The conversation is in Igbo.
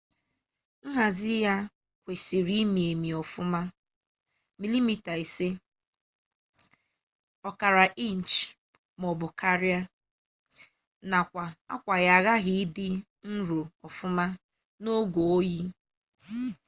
nhazi ya kwesịrị imi emi ọfụma 5 mm 1/5 inchi maọbụ karia nakwa akwa ya aghaghị idi nro ọfụma n'oge oyi